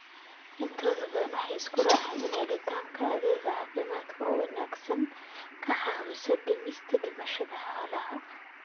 Intooda badan waxay isku raaceen in helitaanka adeeg caafimaad oo wanaagsan ay ka caawiso dhimista dhimashada xoolaha.